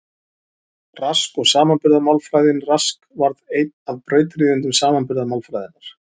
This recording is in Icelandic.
Rask og samanburðarmálfræðin Rask varð einn af brautryðjendum samanburðarmálfræðinnar.